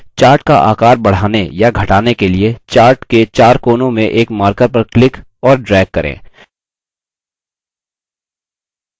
chart का आकार बढ़ाने या घटाने के लिए chart के chart कोनों में एक markers पर click और drag करें